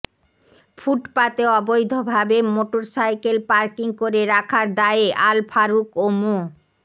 ফুটপাতে অবৈধভাবে motorcycle parking করে রাখার দায়ে আল ফারুক ও মো